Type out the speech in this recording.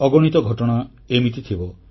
ଅଗଣିତ ଘଟଣା ଏମିତି ଥିବ